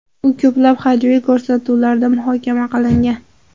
U ko‘plab hajviy ko‘rsatuvlarda muhokama qilingan.